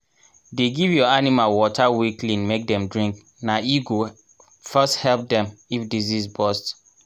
dey give your animal water wey clean make dem drink na e go first help dem if disease bust